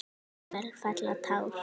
Jafnvel fella tár.